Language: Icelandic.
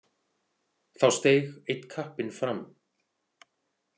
Þá steig einn kappinn fram.